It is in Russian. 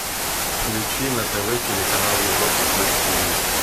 включи на тв телеканал европа плюс тиви